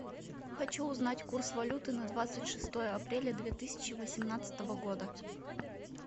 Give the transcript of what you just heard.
хочу узнать курс валюты на двадцать шестое апреля две тысячи восемнадцатого года